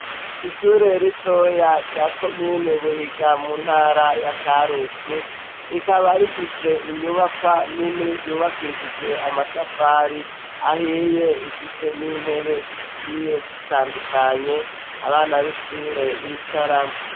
Ishure rito ya ryakomini buhiga mu ntara ya karusi rikaba rifise inyubakwa nini yubakishijwe amatafari ahiye imfise n'intebe zigiye zitandukanye abana b'ishure b'icaramwo.